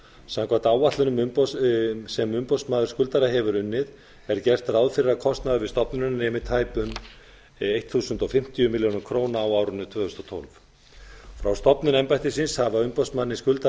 samkvæmt áætlun sem umboðsmaður skuldara hefur unnið er gert ráð fyrir að kostnaður við stofnunina nemi tæpum þúsund fimmtíu milljónir króna á árinu tvö þúsund og tólf frá stofnun embættisins hafa umboðsmanni skuldara